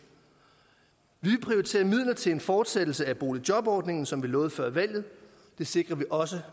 vi prioriterer midler til en fortsættelse af boligjobordningen som vi lovede før valget det sikrer vi også